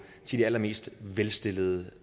til de allermest velstillede